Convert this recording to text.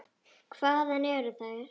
Hvaðan eru þær.